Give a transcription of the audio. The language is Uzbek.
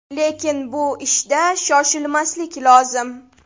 Lekin bu ishda shoshilmaslik lozim.